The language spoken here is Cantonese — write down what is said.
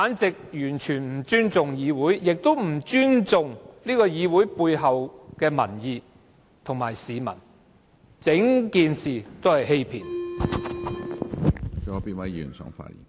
這完全是不尊重議會，亦不尊重議會背後的民意，完全是欺騙市民。